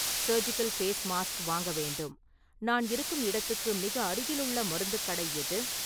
Surgical face mask வாங்க வேண்டும், நான் இருக்கும் இடத்துக்கு மிக அருகிலுள்ள மருத்துக் கடை எது?